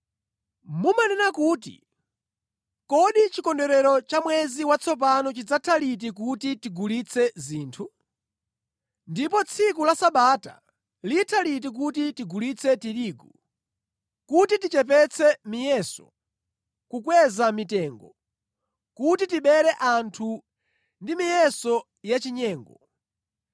Mumanena kuti, “Kodi chikondwerero cha mwezi watsopano chidzatha liti kuti tigulitse zinthu? Ndipo tsiku la Sabata litha liti kuti tigulitse tirigu, kuti tichepetse miyeso, kukweza mitengo kuti tibere anthu ndi miyeso ya chinyengo,